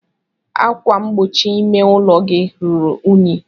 Ákwà mgbochi ime ụlọ gị ruru unyi.